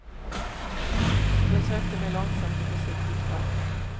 Jag sökte mig långsamt och försiktigt fram.